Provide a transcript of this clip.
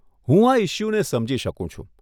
હું આ ઇશ્યૂને સમજી શકું છું.